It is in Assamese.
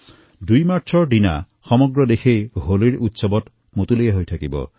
দুই মাৰ্চত সমগ্ৰ দেশ হোলীৰ উৎসৱ হৰ্ষোল্লাসেৰে পালন কৰিব